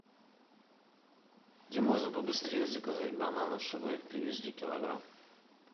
где можно побыстрее заказать бананов чтобы привезли килограмм